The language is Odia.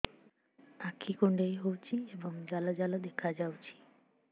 ଆଖି କୁଣ୍ଡେଇ ହେଉଛି ଏବଂ ଜାଲ ଜାଲ ଦେଖାଯାଉଛି